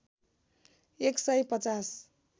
१ सय ५०